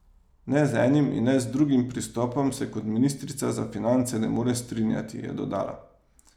Ne z enim in ne z drugim pristopom se kot ministrica za finance ne more strinjati, je dodala.